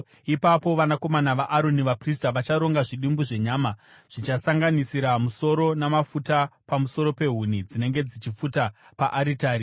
Ipapo vanakomana vaAroni vaprista vacharonga zvidimbu zvenyama, zvichisanganisira musoro namafuta pamusoro pehuni dzinenge dzichipfuta paaritari.